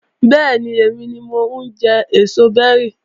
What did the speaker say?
Bẹ́ẹ̀ni, èmi ni mo ń jẹ èso bẹ́rì